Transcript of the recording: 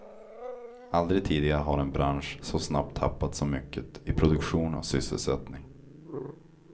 Aldrig tidigare har en bransch så snabbt tappat så mycket i produktion och sysselsättning.